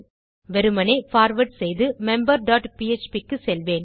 வெறுமனே பார்வார்ட் செய்து member dot PHP க்கு செல்வேன்